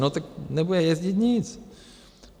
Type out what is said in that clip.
No tak nebude jezdit nic.